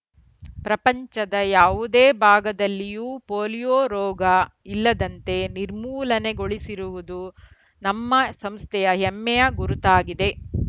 ಪ್ರಪಂಚದ ಯಾವುದೇ ಭಾಗದಲ್ಲಿಯೂ ಪೋಲೀಯೋ ರೋಗ ಇಲ್ಲದಂತೆ ನಿರ್ಮೂಲನೆಗೊಳಿಸಿರುವುದು ನಮ್ಮ ಸಂಸ್ಥೆಯ ಹೆಮ್ಮೆಯ ಗುರುತಾಗಿದೆ